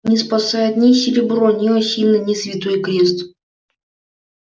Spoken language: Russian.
не спасает ни серебро ни осина ни святой крест